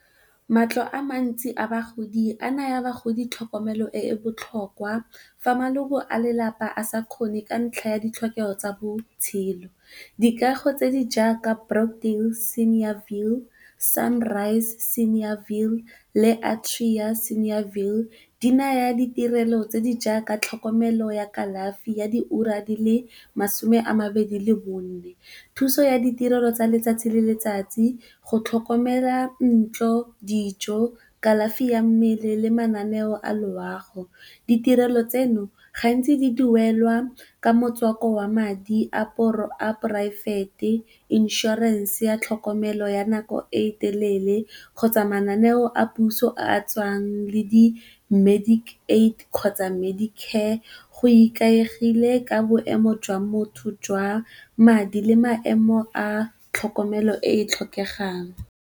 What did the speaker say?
Matlo a mantsi a bagodi a naya bagodi tlhokomelo e e botlhokwa fa maloko a lelapa a sa kgone ka ntlha ya ditlhokego tsa botshelo. Dikago tse di jaaka Brought-in senior view, Sunrise senior view, le Atria senior view. Di naya ditirelo tse di jaaka tlhokomelo ya kalafi ya diura di le masome a mabedi le bone, thuso ya ditirelo tsa letsatsi le letsatsi go tlhokomela ntlo, dijo, kalafi ya mmele, le mananeo a loago. Ditirelo tseno gantsi di duelwa ka motswako wa madi a poraefete, insurance ya tlhokomelo ya nako e telele kgotsa mananeo a puso a a tswang le di medical aid kgotsa medi-care go ikaegile ka boemo jwa motho jwa madi le maemo a tlhokomelo e e tlhokegang.